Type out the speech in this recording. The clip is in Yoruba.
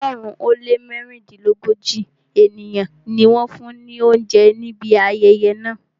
ọ̀ọ́dúnrún ó lé mẹ́rìndínlógójì ènìyàn ni wọ́n fún ni oúnjẹ ní ibi ayẹyẹ náà.